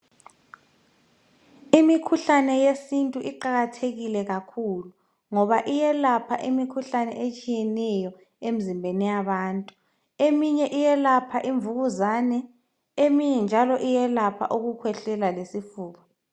Imithi yesintu iqakathekile kakhulu, ngoba iyelapha imikhuhlane etshiyeneyo emzimbeni yabantu. Eminye iyelapha imvukuzane, eminye njalo iyelapha ukukhwehlela lesifuba.